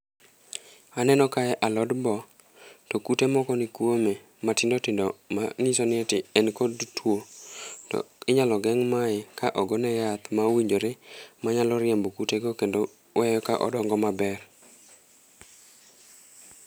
Aneno kae alod boo, to kute moko ni kwome matindo tindo mang'iso ni ati en kod two. To inyalo geng' mae ka ogone yath maowinjore, manyalo riembo kute go kendo wee ka odongo maber.